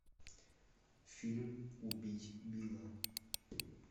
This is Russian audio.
фильм убить билла